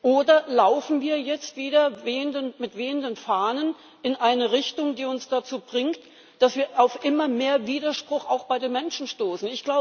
Oder laufen wir jetzt wieder mit wehenden Fahnen in eine Richtung, die uns dazu bringt, dass wir auf immer mehr Widerspruch auch bei den Menschen stoßen?